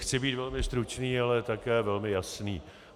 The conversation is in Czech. Chci být velmi stručný, ale také velmi jasný.